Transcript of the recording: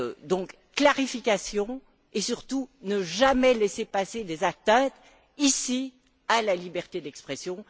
Donc, clarification, et surtout ne jamais laisser passer ici des atteintes à la liberté d'expression.